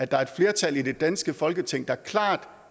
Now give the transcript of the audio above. der er et flertal i det danske folketing der klart